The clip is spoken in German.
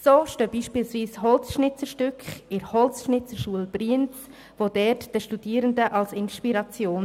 So stehen beispielsweise Holzschnitzereien in der Schule für Holzbildhauerei in Brienz und dienen dort den Studierenden als Inspiration.